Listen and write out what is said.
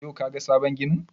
Yau ka ga sabon ginin?